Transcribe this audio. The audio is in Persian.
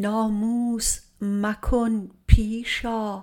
ناموس مکن پیش آ